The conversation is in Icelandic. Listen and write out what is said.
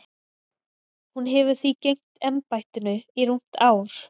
Hún hefur því gegnt embættinu í rúmt ár.